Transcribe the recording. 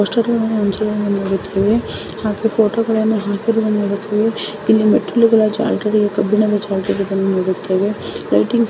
ಇದು ಒಂದು ಕೇಂದ್ರದ ಒಳಗೆ ಅಲ್ಲಿ ಹೋಗಿ ಅಲ್ಲೇ ನೋಡು ಅಲ್ಲೇ ಹಿಂದಿಯಲ್ಲಿ. ಪೋಷಕರು ನಡುವೆ ಹಾಗೆ ಫೋಟೋಗಳನ್ನು ಹಾಕಿದ್ದು ಇಲ್ಲಿ ಮದುವೆ ಲೈಟಿಂಗ್.